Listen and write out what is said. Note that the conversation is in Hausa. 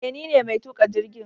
Eh nine mai tuka jirgin